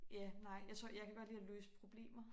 Ja nej jeg tror jeg kan godt lide at løse problemer